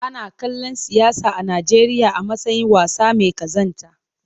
Ana kallon siyasa a Najeriya a matsayin wasa mai kazanta.